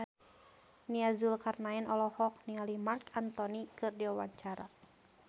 Nia Zulkarnaen olohok ningali Marc Anthony keur diwawancara